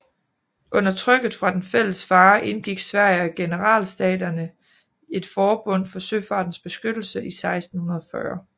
Under trykket fra den fælles fare indgik Sverige og Generalstaterne et forbund til søfartens beskyttelse i 1640